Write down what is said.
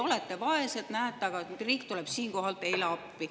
Olete vaesed, aga näete, riik tuleb teile appi.